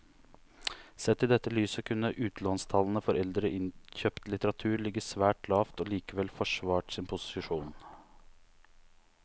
Sett i dette lyset kunne utlånstallene for eldre innkjøpt litteratur ligget svært lavt og likevel forsvart sin posisjon.